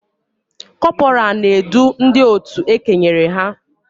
Kọpọraa na-edu ndị otu e kenyere ha